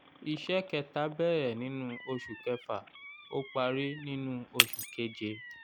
iṣẹ́ kẹta bẹ̀rẹ̀ nínú oṣù kẹfà ó parí nínú oṣù keje.